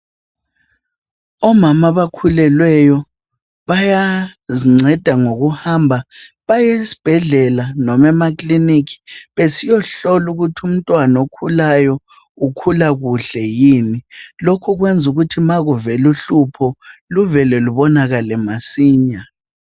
omama abakhulelweyo bayazinceda ngokuhamba bayesibhedlela noma emakiliniki besiyohlolwa ukuthi umntwana okhulayo ukhula kuhle yini lokhukwenza ukuthi ma kuvela uhlupho luvele lubonakale masinya